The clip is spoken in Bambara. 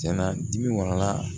Cɛn na dibi wala